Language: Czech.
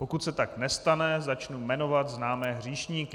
Pokud se tak nestane, začnu jmenovat známé hříšníky.